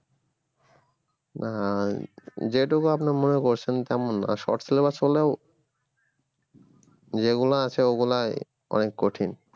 না যেটুকু আপনার মনে করছেন তেমন না short syllabus হলেও যেগুলো আছে ওগুলোই অনেক কঠিন।